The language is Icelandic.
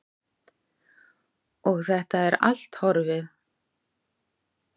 Og þetta er allt horfið.